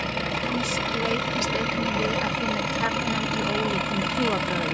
James leitast einnig við að finna kjarnann í ólíkum trúarbrögðum.